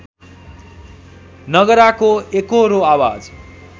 नगराको एकोहोरो आवाज